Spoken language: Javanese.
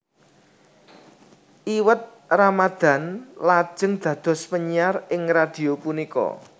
Iwet Ramadhan lajeng dados penyiar ing radhio punika